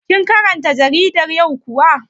Kin karanta jaridar yau kuwa?